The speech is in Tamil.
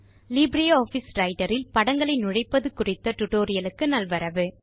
லிப்ரியாஃபிஸ் Writerஇல் படங்களை நுழைப்பது குறித்த டியூட்டோரியல் க்கு நல்வரவு